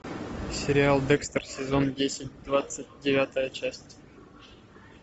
сериал декстер сезон десять двадцать девятая часть